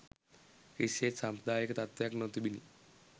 කිසිසේත් සාම්ප්‍රදායික තත්ත්වයක නොතිබුණි.